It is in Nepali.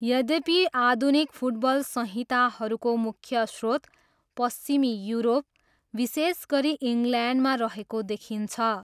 यद्यपि, आधुनिक फुटबल संहिताहरूको मुख्य स्रोत पश्चिमी युरोप, विशेष गरी इङ्ल्यान्डमा रहेको देखिन्छ।